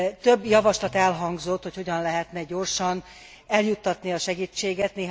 Több javaslat elhangzott, hogy hogyan lehetne gyorsan eljuttatni a segítséget.